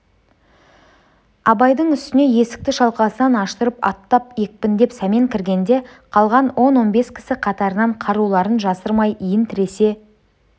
абайдың үстіне есікті шалқасынан аштырып аттап екпіндеп сәмен кіргенде қалған он-он бес кісі қатарынан қаруларын жасырмай иін тіресе